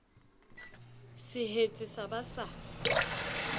se hetse sa ba sa